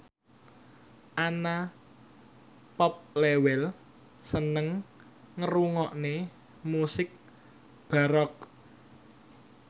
Anna Popplewell seneng ngrungokne musik baroque